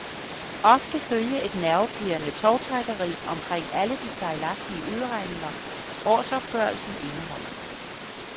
Ofte følger et nervepirrende tovtrækkeri omkring alle de fejlagtige udregninger, årsopgørelsen indeholder.